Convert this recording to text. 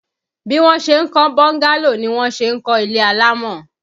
Bí wọn ṣe ń kọ́ bọ́ńgálò ni wọ́n ṣe ń kọ́ ilé alámọ̀.